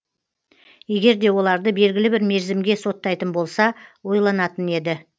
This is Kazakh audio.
егер де оларды белгілі бір мерзімге соттайтын болса ойланатын еді